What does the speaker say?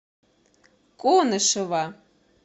конышева